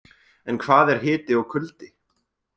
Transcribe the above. En hvað er hiti og kuldi?.